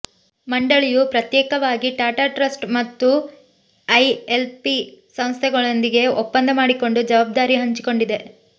ಮಂಡಳಿಯು ಪ್ರತ್ಯೇಕವಾಗಿ ಟಾಟಾ ಟ್ರಸ್ಟ್ ಮತ್ತು ಐಎಲ್ಪಿ ಸಂಸ್ಥೆಗಳೊಂದಿಗೆ ಒಪ್ಪಂದ ಮಾಡಿಕೊಂಡು ಜವಾಬ್ದಾರಿ ಹಂಚಿಕೊಂಡಿದೆ